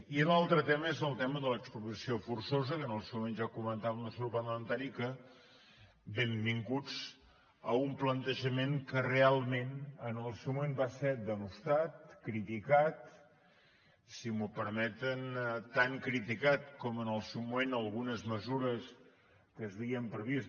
i l’altre tema és el tema de l’expropiació forçosa que en el seu moment ja comentava el nostre grup parlamentari que benvinguts a un plantejament que realment en el seu moment va ser blasmat criticat si m’ho permeten tan criticat com en el seu moment algunes mesures que s’havien previst